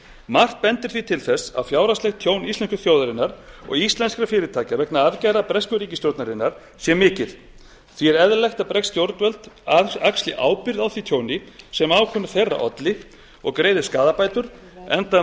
margt bendir því til þess að fjárhagslegt tjón íslensku þjóðarinnar og íslenskra fyrirtækja vegna aðgerða bresku ríkisstjórnarinnar sé mikið því er eðlilegt að bresk stjórnvöld axli ábyrgð á því tjóni sem ákvörðun þeirra olli og greiði skaðabætur enda